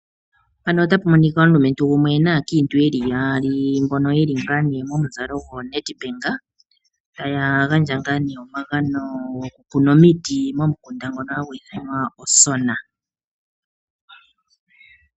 Omulumentu gumwe naakiintu yeli yaali, mbono ye li momuzalo gwo Nedbank. Ota ya gandja omagano gomiti momukunda ngono hagu ithanwa Osona.